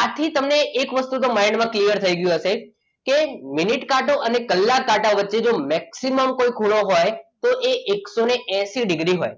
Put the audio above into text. આજે તમને એક વસ્તુ તો mind માં clear થઈ ગયું હશે કે મિનિટ કાંટા અને કલાક કાંટા વચ્ચે જો કોઈ maximum ખૂણો હોય તો એ એકસો એસી ડિગ્રી હોય.